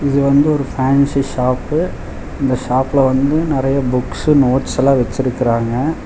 இது வந்து ஒரு ஃபேன்சி ஷாப்பு இந்த ஷாப்ல வந்து நறைய புக்ஸ் நோட்ஸ்ஸல்லா வெச்சிருக்குறாங்க.